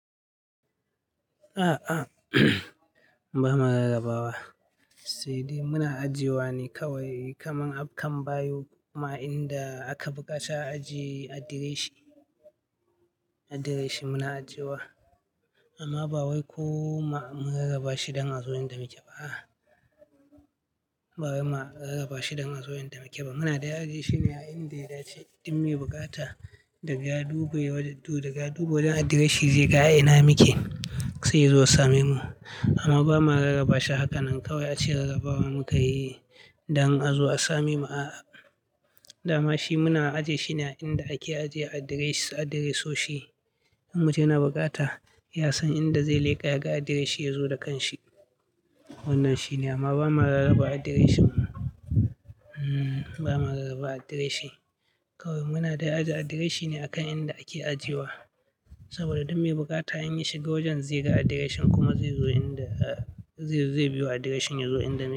A'a, ba ma rarrabawa. Sai dai muna ajiye wa ne kawai kamar akan bayo kuma a inda aka buƙaci ajiye adireshin, adireshin muna ajiye wa. Amma ba wai ko ma mun rarraba shi don azo in da muke ba. Ba wai ma rarraba shi don azo in da muke ba. Muna dai ajiye shine a inda itace duk me bukata daga ya duba wajen du, daga ya duba wajen adireshin zai ga a ina muke sai ya zo ya same mu. Amma ba ma rarraba shi hakanan kawai ace rarrabawa muka yi don azo a same mu a'a. Da ma shi muna aje shi ne a inda ake ajiye adiresh, adireshoshi. In mutum ya na bukata ya san inda zai leƙa ya ga adireshin ya zo da kanshi. Wannan shine amma ba ma rarraba adireshin. Ba ma rarraba adireshin. Kawai muna dai aje adireshin ne a kan inda ake ajiye wa. Saboda duk me bukata in ya shiga wajen zai ga adireshin kuma zai zo inda, zai biyo adireshin yazo inda muke.